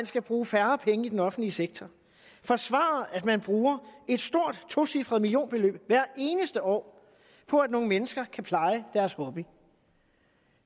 skal bruges færre penge i den offentlige sektor forsvarer at man bruger et stort tocifret millionbeløb hvert eneste år på at nogle mennesker kan pleje deres hobby